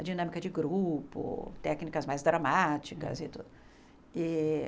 A dinâmica de grupo, técnicas mais dramáticas e tudo. E